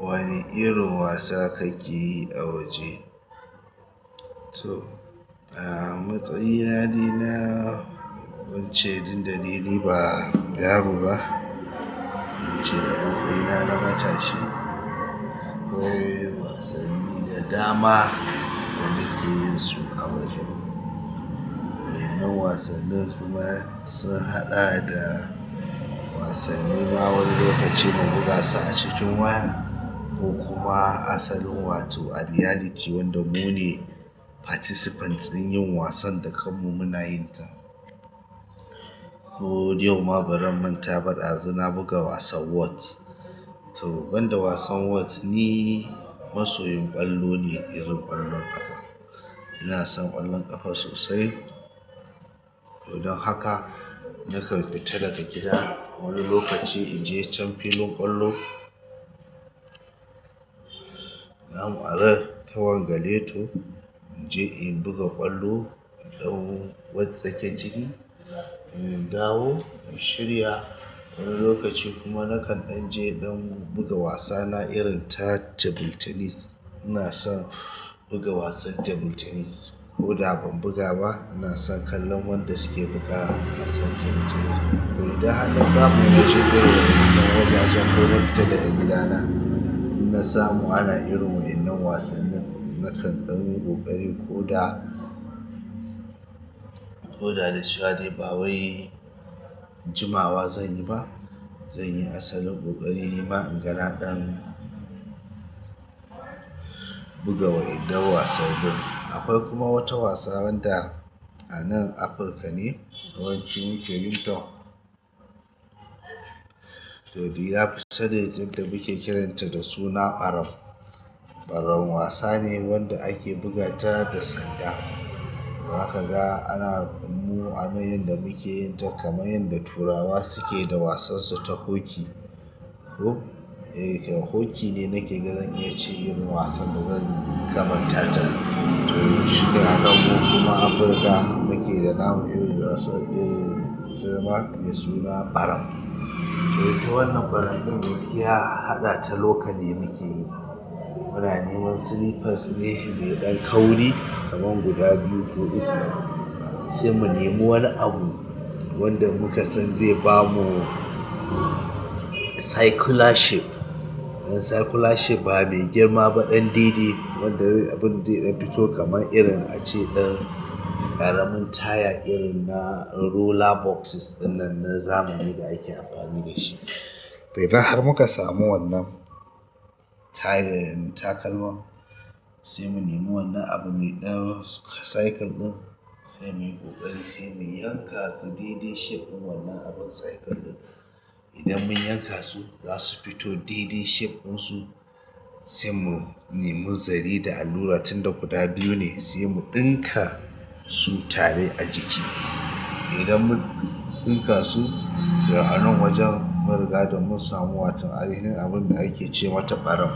Wane irin wasa kake yi a waje? To, a matsayina ni na wuce duk da dai niba yaro ba wuce a matsayina na matashi akwai wasanni da dama da nake yin su a waje. Wa'innan wasannin kuma sun haɗa da wasannin ma wani lokaci mu buga su a cikin waya ko kuma asalin wato a reality wanda mu ne participants din yin wasan da kanmu muna yin ta. Ko yau ma bazan manta ba ko dazu na buga wasan whot to, banda wasan Whot ni masoyin ƙwallo ne irin ƙwallon ƙafa. Ina son ƙwallon ƙafa sosai. Dan haka nakan fita daga gida wani lokaci inje can filin ƙwallo namu a ran ta wanga leto in je in buga ƙwallo in ɗau Whot take ciki, in dawo in shirya wani lokaci kuma nakan ɗan je don buga wasana irin ta table tennis. Ina son buga wasan table tennis ko da ban buga ba, ina son kallon wanda suke bugawa wasan table tennis. To, idan har na samu naje gurin wayan nan wajajen ko na fita daga gidana, in na samu ana irin wa'innan wasannin nakan ɗan yi ƙoƙari ko da, koda da cewa dai ba wai jimawa zanyi ba zan yi asalin ƙoƙari nima in ga na ɗan buga wa'innan wasanni. Akwai kuma wata wasa wanda a nan Afirka ne yawanci muke yin ta. To, dai na fi saninta da muke kiranta da suna ɓaram. Ɓaram wasa ne wanda ake buga ta da sanda. To zaka ga ana mu ana yan da muke yin ta kamar yadda turawa suke da wasan su ta hockey ko? E, hockey ne nake ga zan iya ce irin wasan da zan kamata ta. To, shike a kanmu kuma Afirka muke da namu irin wasan irin zama mai suna ɓaram. To, ita wannan ɓaram ɗin gaskiya haɗa ta locally muke yi. Muna neman slippers ne mai ɗan kauri kamar guda biyu ko uku, sai mu nemo wani abu wanda muka san zai bamu circular shape. Circular shape ba mai girma ba ɗan daidai wanda zai abun zai dan fito kamar irin ace ɗan ƙaramin taya irin na roller boxes wannan na zamani da ake amfani da shi. To, idan har muka samu wannan tayan takalman, sai mu nemo wannan abu mai ɗan cycle ɗin, sai muyi ƙoƙari sai mu yanka su dai dai shape wannan abun cycle ɗin. Idan mun yanka su, za su fito dai dai shape ɗinsu, sai mu nemo zare da allura tun da guda biyu ne sai mu ɗinka su tare a jiki. Idan mun ɗinka su, a nan wajen mun riga da mun samu waton ainihin abun da ake ce mata ɓaram,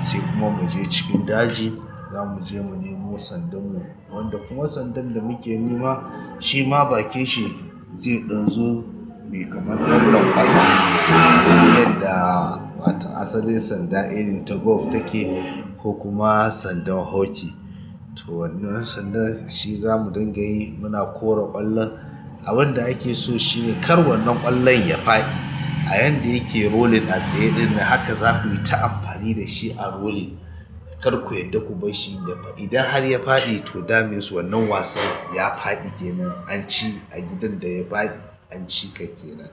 sai kuma mu je cikin daji za mu je mu nemo sandanmu wanda kuma sandan da muke nema shi ma bakin shi zai ɗan zo mai kamar dan lankwasa. Abun da wata asalin sanda irin ta golf take ko kuma sandan hockey to, wannan sandan shi zamu dinga yi muna kora ƙwallon. Abun da ake so shi ne kar wannan ƙwallon ya faɗi a yanda yake rolling a tsaye ɗin nan haka za ku yi ta amfani da shi a rolling. Kar ku yarda ku bar shi ya faɗi. Idan har ya faɗi to that mean wannan wasan ya faɗi kenan an ci a gidan da ya faɗi an ci kai kenan.